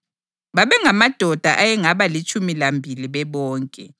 Babengamadoda ayengaba litshumi lambili bebonke.